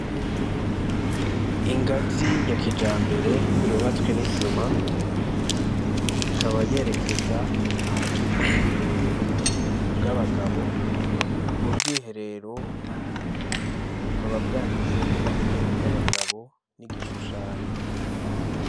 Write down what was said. Ingazi ya kija mbere yobatswe n'isima ikaba yerekeza hari ubwiherero bw'abagabo ubwo bwiherero bukababwanditseko yuko ari ubwo abagabo n'igishushanyo.